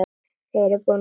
Þið búið í landi guðs.